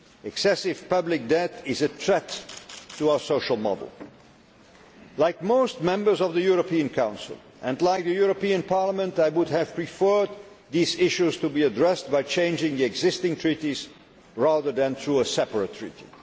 Excessive public debt is a threat to our social model. Like most members of the European Council, and like Parliament, I would have preferred these issues to be addressed by changing the existing treaties rather than through a separate